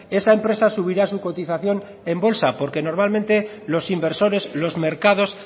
esa empresa subirá su cotización en bolsa porque normalmente los inversores los mercados